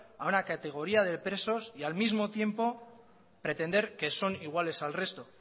a una categoría de presos y al mismo tiempo pretender que son iguales al resto